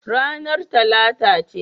Ranar Talata ce.